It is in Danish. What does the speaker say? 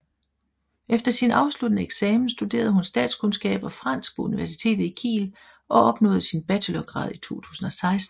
Efter sin afsluttende eksamen studerede hun statskundskab og fransk på universitetet i Kiel og opnåede sin bachelorgrad i 2016